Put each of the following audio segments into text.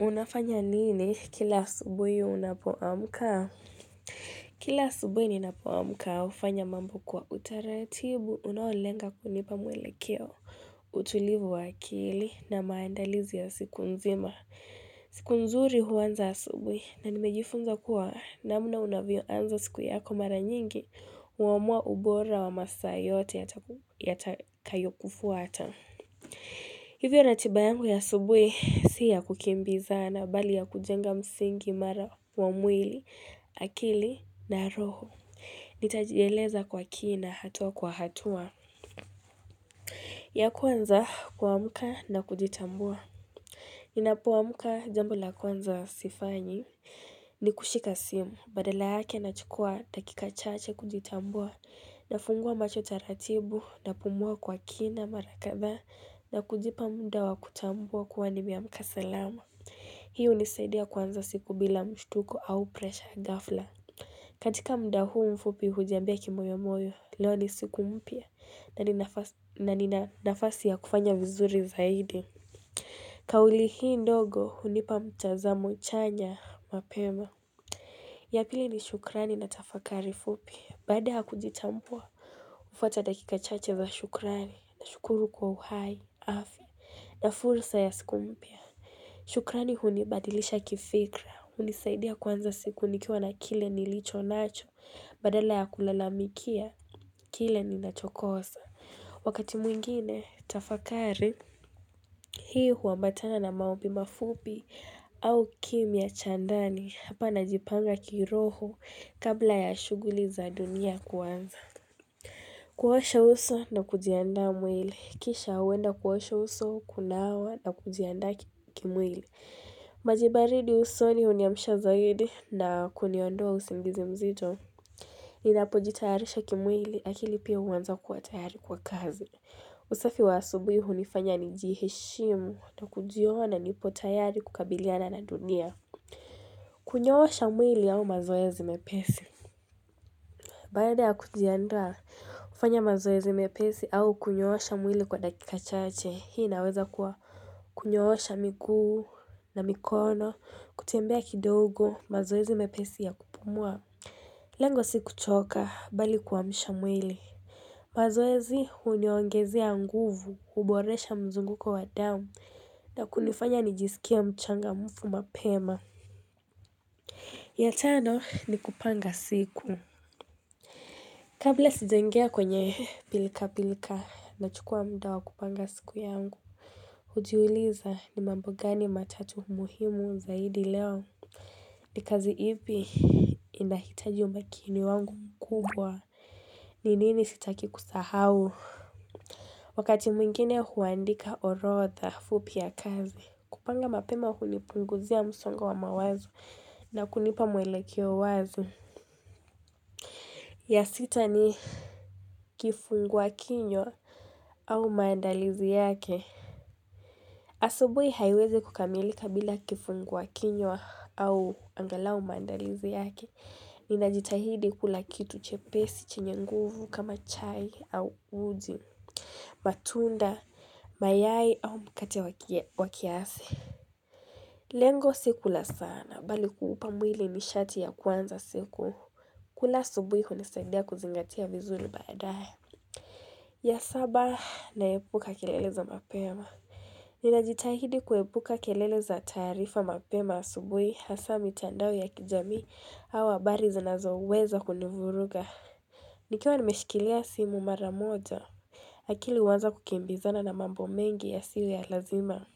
Unafanya nini kila asubuhi unapo amka? Kila subuhi ninapoamuka, hufanya mambo kwa utaratibu, unaolenga kunipa mwelekeo, utulivu wa akili, na maandalizi ya siku nzima. Siku nzuri huanza asubuhi, na nimejifunza kuwa namna unavyo anza siku yako mara nyingi, huamua ubora wa masaa yote yatakayo kufuata. Hivyo ratiba yangu ya asubuhi si ya kukimbiza mbali ya kujenga msingi imara wa mwili, akili na roho. Nitajieleza kwa kina hatua kwa hatua. Ya kwanza kuamka na kujitambua. Ninapo amka jambo la kwanza sifanyi. Ni kushika simu, badala yake nachukua dakika chache kujitambua. Nafungua macho taratibu napumua kwa kina mara kadhaa na kujipa muda wa kutambua kuwa nimeamka salama Hii hunisaidia kwanza siku bila mshituko au presha ghafla katika muda huu mfupi hujiambia kimoyo moyo leo ni siku mpya na nina nafasi ya kufanya vizuri zaidi Kauli hii ndogo hunipa mtazamo chanya mapema ya pili ni shukrani na tafakari fupi baada ya kujitambua hufuata dakika chache za shukrani, na shukuru kwa uhai, afya. Na fursa ya siku mpya, shukrani hunibadilisha kifikra, hunisaidia kuanza siku nikiwa na kile nilicho nacho, badala ya kulalamikia, kile ni nachokosa. Wakati mwingine, tafakari, hii huwambatana na maombi mafupi au kimya cha ndani hapa najipanga kiroho kabla ya shuguli za dunia kuanza. Kuosha uso na kujiandaa mwili. Kisha huenda kuosha uso, kunawa na kujiandaa kimwili. Maji baridi usoni huniamsha zaidi na kuniondoa usingizi mzito. Ninapo jitayarisha kimwili akili pia huanza kuwa tayari kwa kazi. Usafi wa asubui hunifanya nijiheshimu na kujiona nipo tayari kukabiliana na dunia. Kunyoosha mwili au mazoezi mepesi. Baada ya kujiandaa hufanya mazoezi mepesi au kunyoosha mwili kwa dakika chache hii inaweza kuwa kunyoosha miguu na mikono kutembea kidogo mazoezi mepesi ya kupumua Lengo si kuchoka mbali kuamsha mwili mazoezi huniongezea nguvu huboresha mzunguko wa damu na kunifanya nijisikie mchangamfu mapema ya tano ni kupanga siku Kabla sijaingia kwenye pilka-pilka nachukua muda wa kupanga siku yangu. Hujiuliza ni mambo gani matatu muhimu zaidi leo. Ni kazi ipi inahitaji umakini wangu mkubwa. Ni nini sitaki kusahau? Wakati mwingine huandika orodha fupi ya kazi. Kupanga mapema hunipunguzia msongo wa mawazo na kunipa mwelekeo wazi. Ya sita ni kifungua kinywa au maandalizi yake. Asubuhi haiwezi kukamilika bila kifungua kinywa au angalau maandalizi yake. Ninajitahidi kula kitu chepesi, chenye nguvu kama chai au uji, matunda, mayai au mkate wa kiasi. Lengo si kula sana, mbali kuupa mwili nishati ya kwanza siku. Kula asubuhi hunisaidia kuzingatia vizuri baadae. Ya saba naepuka kelele za mapema Ninajitahidi kuepuka kelele za taarifa mapema asubuhi hasa mitandao ya kijamii au habari zinazo weza kunivuruga Nikiwa nimeshikilia simu mara moja akili huanza kukimbizana na mambo mengi ya siyo ya lazima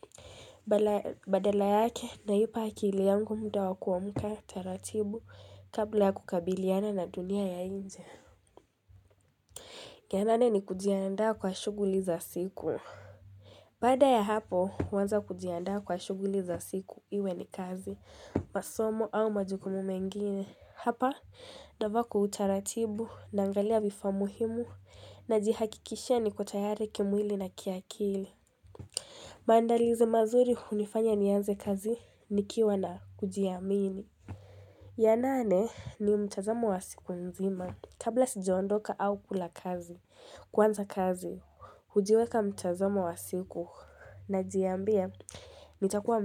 Badala yake naipa akili yangu muda wakuamka taratibu kabla ya kukabiliana na dunia ya nje ya nane ni kujiandaa kwa shughuli za siku Baada ya hapo, huanza kujiandaa kwa shughuli za siku iwe ni kazi, masomo au majukumu mengine. Hapa, navaa kwa utaratibu, naangalia vifaa muhimu, najihakikishia niko tayari kimwili na kiakili. Maandalizo mazuri hunifanya nianze kazi, nikiwa na kujiamini. Ya nane ni mtazamo wa siku nzima kabla sijondoka au kula kazi kuanza kazi hujiweka mtazamo wa siku najiambia nitakuwa.